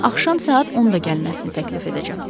Ona görə axşam saat 10-da gəlməsini təklif edəcəm.